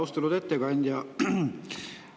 Austatud ettekandja!